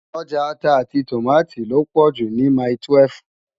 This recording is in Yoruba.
Òjá àtá áti tómátó lópò jú ni mái-túwèf